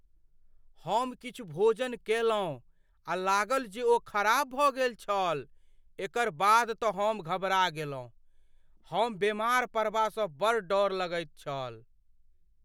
हम किछु भोजन कयलहुँ आ लागल जे ओ खराब भऽ गेल छल एकर बाद तँ हम घबड़ा गेलहुँ। हम बेमार पड़बासँ बड़ डर लगैत छल।